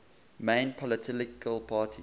main political parties